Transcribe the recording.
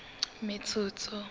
metsotso